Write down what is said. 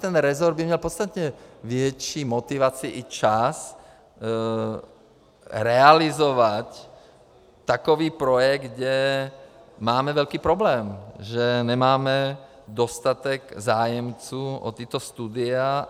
Ten resort by měl podstatně větší motivaci i čas realizovat takový projekt, kde máme velký problém, že nemáme dostatek zájemců o tato studia.